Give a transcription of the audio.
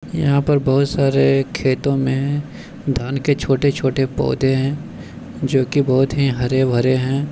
यहां पर बहुत सारे खेतों मे धान के छोटे-छोटे पौधे है जो कि बहुत ही हरे-भरे है।